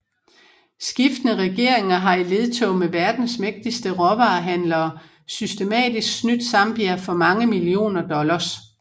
Skiftende regeringer har i ledtog med verdens mægtigste råvarehandlere systematisk snydt Zambia for mange millioner dollars